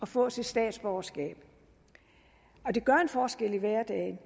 få sit statsborgerskab det gør en forskel i hverdagen